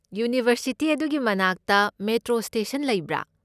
University ꯑꯗꯨꯒꯤ ꯃꯅꯥꯛꯇ metro station ꯂꯩꯕ꯭ꯔꯥ?